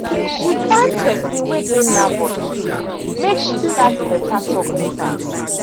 she find person wey dey nervous too make she start better talk with am.